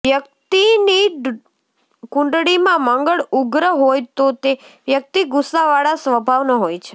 વ્યક્તિની કુંડળીમાં મંગળ ઉગ્ર હોય તો તે વ્યક્તિ ગુસ્સાવાળા સ્વભાવનો હોય છે